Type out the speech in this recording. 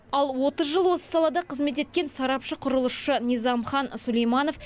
ал отыз жыл осы салада қызмет еткен сарапшы құрылысшы низамхан сүлейманов